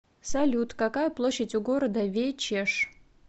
салют какая площадь у города вечеш